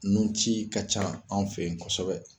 Nun ci ka ca anw fe yen kɔsɔbɛ.